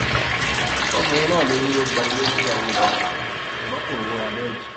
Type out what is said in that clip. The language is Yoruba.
ọkùnrin náà ló ní ó gba ilé fúnyàwó òun ṣùgbọn kò rówó ra bẹẹdì